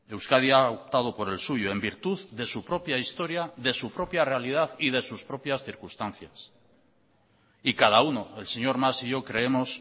euskadi ha optado por el suyo en virtud de su propia historia de su propia realidad y de sus propias circunstancias y cada uno el señor mas y yo creemos